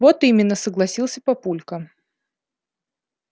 вот именно согласился папулька